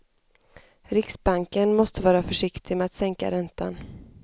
Riksbanken måste vara försiktig med att sänka räntan.